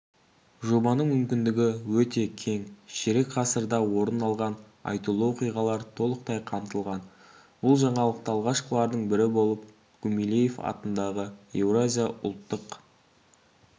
жобаның мүмкіндігі өте кең ширек ғасырда орын алған айтулы оқиғалар толықтай қамтылған бұл жаңалықты алғашқылардың бірі болып гумилев атындағы еуразия ұлттық